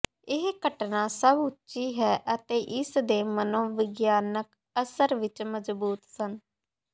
ਇਹ ਘਟਨਾ ਸਭ ਉੱਚੀ ਹੈ ਅਤੇ ਇਸ ਦੇ ਮਨੋਵਿਗਿਆਨਕ ਅਸਰ ਵਿੱਚ ਮਜ਼ਬੂਤ ਸਨ